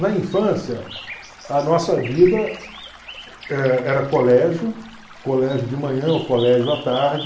Na infância, a nossa vida eh era colégio, colégio de manhã ou colégio à tarde.